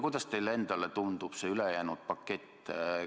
Kuidas teile endale tundub see ülejäänud pakett?